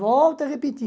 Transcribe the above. Volto a repetir.